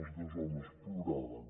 els dos homes ploraven